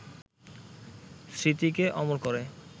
স্মৃতিকে অমর করে